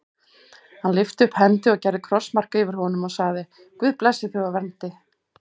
Hann lyfti upp hendi og gerði krossmark fyrir honum og sagði:-Guð blessi þig og verndi.